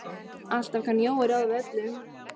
Alltaf kann Jói ráð við öllu.